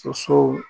Sosow